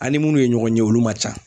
An' ni munnu ye ɲɔgɔn ye olu man ca.